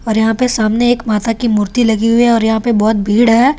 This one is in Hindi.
और यहाँ पे सामने एक माता की मूर्ति लगी हुई है और यहाँ पे बहुत भीड़ है ।